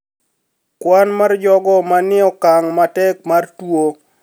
Kwan mar jogo manie okang` matek mar tuo